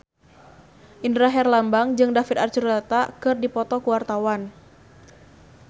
Indra Herlambang jeung David Archuletta keur dipoto ku wartawan